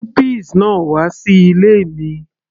mú peas náà wà sí ilé mi